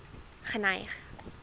geneig